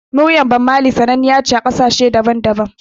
Muryar Bammali sananniya ce a ƙasashen duniya daban-daban